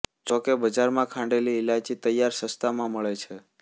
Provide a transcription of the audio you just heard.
જોકે બજારમાં ખાંડેલી ઇલાયચી તૈયાર સસ્તામાં મળે છે